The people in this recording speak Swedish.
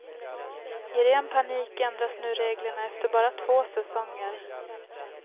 I ren panik ändras nu reglerna efter bara två säsonger.